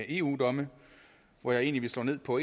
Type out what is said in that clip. eu domme hvoraf jeg vil slå ned på